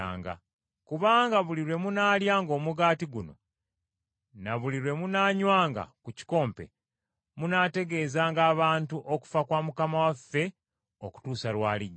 Kubanga buli lwe munaalyanga omugaati guno ne buli lwe munaanywanga ku kikompe, munaategeezanga abantu okufa kwa Mukama waffe okutuusa Lw’alijja.